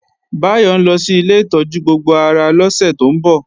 Báyọ̀ ńlọ sí ilé ìtọ́jú gbogbo ara lọ́sẹ̀ tó ń bọ̀